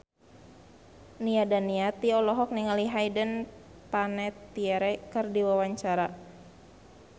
Nia Daniati olohok ningali Hayden Panettiere keur diwawancara